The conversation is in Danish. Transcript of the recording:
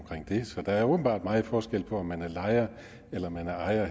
det så der er åbenbart meget forskel på om man er lejer eller man er ejer